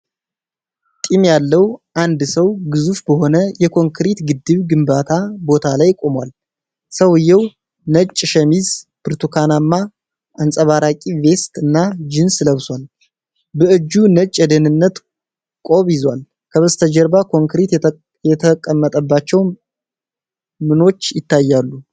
ጢም ያለው አንድ ሰው ግዙፍ በሆነ የኮንክሪት ግድብ ግንባታ ቦታ ላይ ቆሟል። ሰውየው ነጭ ሸሚዝ፣ ብርቱካናማ አንጸባራቂ ቬስት እና ጂንስ ለብሷል። በእጁ ነጭ የደህንነት ቁር ይዟል። ከበስተጀርባ ኮንክሪት የተቀመጠባቸው ምኖች ይታያሉ?